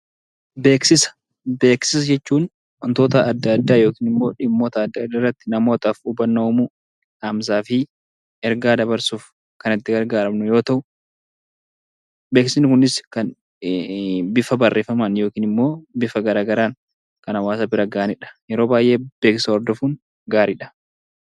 Beeksisa Beeksisa jechuun wantoota adda addaa yookiin immoo dhimmoota adda addaa irratti namootaaf hubannoo uumuu, dhaamsaa fi ergaa dabarsuuf kan itti gargaaramnu yoo ta'u, beeksisni kunis kan bifa barreeffamaan yookiin immoo bifa garaagaraan kan hawaasa bira ga'anii dha. Yeroo baay'ee beeksisa hordofuun gaarii dha.